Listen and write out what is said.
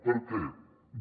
per què no